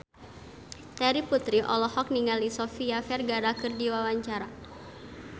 Terry Putri olohok ningali Sofia Vergara keur diwawancara